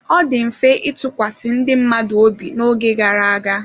Ọ dị mfe ịtụkwasị ndị mmadụ obi n'oge gara aga.